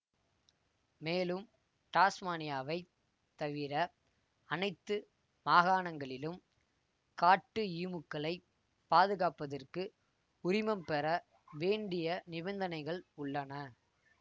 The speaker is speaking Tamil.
மேலும் டாஸ்மானியாவைத் தவிர அனைத்து மாகாணங்களிலும் காட்டு ஈமுக்களைப் பாதுகாப்பதற்கு உரிமம் பெற வேண்டிய நிபந்தனைகள் உள்ளன